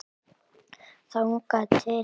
Þangað til.